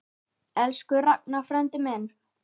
Elsku Ragnar frændi minn.